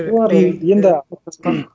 олар енді қалыптасқан